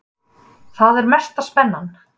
Þar er mesta spennan.